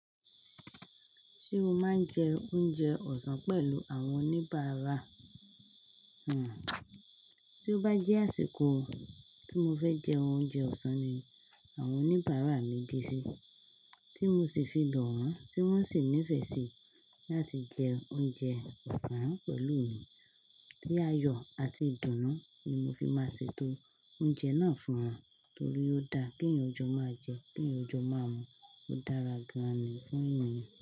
Se mo máa ń jẹ oúnjẹ ọ̀sán pẹ̀lú àwọn oníbàárà, tí ó bá jẹ́ àsìkò tí mo fẹ́ jẹ oúnjẹ ọ̀sán ni àwọn oníbàárà mi dé sí, tí mo sì fi lò wọ́n, tí wọ́n sì nífẹ̀ẹ́ sí láti jẹ oúnjẹ ọ̀sán pẹ̀lú mi. Ni ààyọ̀ àti ìdùnnú ni mo fi máa ṣe tó oúnjẹ náà fún wọn, torí ó dáa kí ènìyàn jó máa jẹ, kí ènìyàn jó máa mu. Ó dára gan-an ni fún ènìyàn.